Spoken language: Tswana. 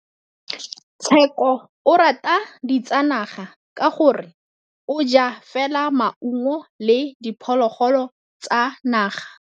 Tshekô o rata ditsanaga ka gore o ja fela maungo le diphologolo tsa naga.